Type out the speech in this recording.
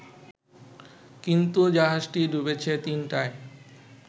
কিন্তু জাহাজটি ডুবেছে তিনটায়